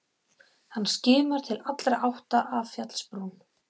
Hann skimar til allra átta af fjallsbrún.